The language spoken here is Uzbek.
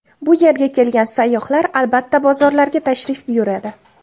Bu yerga kelgan sayyohlar albatta bozorlarga tashrif buyuradi.